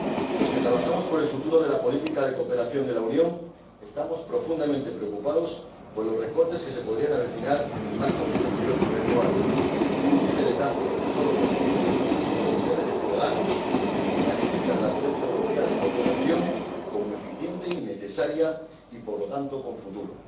Los que trabajamos por el futuro de la política de cooperación de la Unión estamos profundamente preocupados por los recortes que se podrían avecinar en el marco financiero plurianual, un tijeretazo rechazado por cuatrocientos veinticinco millones de ciudadanos, que califican la política europea de cooperación como eficiente y necesaria, y por lo tanto, con futuro.